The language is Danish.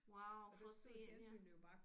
Wow for at se ja